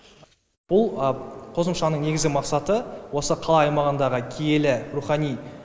бұл қосымшаның негізгі мақсаты осы қала аймағындағы киелі рухани